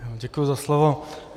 Děkuji za slovo.